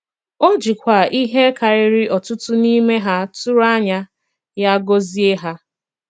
O jìkwa ihé kàrìrì ọ̀tùtù n'ime hà tụrụ ànyà ya gọzie hà.